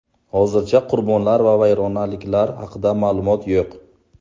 Hozircha qurbonlar va vayronaliklar haqida ma’lumot yo‘q.